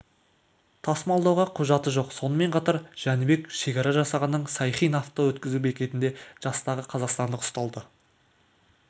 тасымалдауға құжаты жоқ сонымен қатар жәнібек шекара жасағының сайхин авто өткізу бекетінде жастағы қазақстандық ұсталды